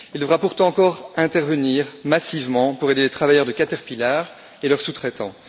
Il devra pourtant encore intervenir massivement pour aider les travailleurs de Caterpillar et leurs sous traitants.